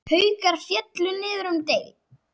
Haukar féllu niður um deild.